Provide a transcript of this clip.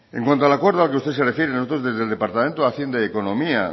en cuando al acuerdo al que usted se refiere nosotros desde el departamento de hacienda y economía